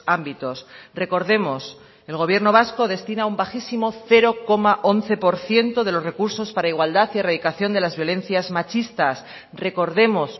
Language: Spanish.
ámbitos recordemos el gobierno vasco destina un bajísimo cero coma once por ciento de los recursos para igualdad y erradicación de las violencias machistas recordemos